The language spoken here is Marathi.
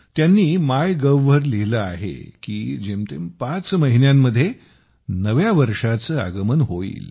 त्यांनी मायगव्हवर लिहिले आहे की जेमतेम पाच महिन्यांमध्ये नव्या वर्षाचे आगमन होईल